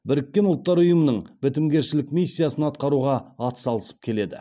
біріккен ұлттар ұйымның бітімгершілік миссиясын атқаруға атсалысып келеді